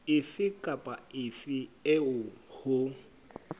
efe kapa efe eo ho